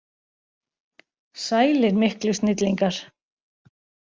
Sælir miklu snillingar!